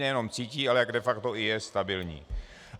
Nejenom cítí, ale jak de facto je i stabilní.